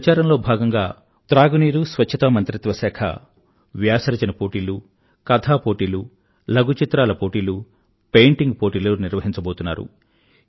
ఈ ప్రచారంలో భాగంగా త్రాగునీరు మరియు స్వచ్ఛతా మంత్రిత్వశాఖ వారు వ్యాస రచన పోటీలు కథా పోటీలు లఘు చిత్రాల పోటీలు పెయింటింగ్ పోటీలు నిర్వహించబోతున్నారు